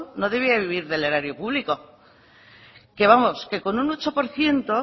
no debía de vivir del erario público que vamos que con un ocho por ciento